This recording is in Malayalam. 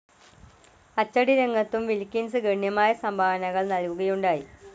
അച്ചടിരംഗത്തും വിൽകിൻസ് ഗണ്യമായ സംഭാവനകൾ നൽകുകയുണ്ടായി.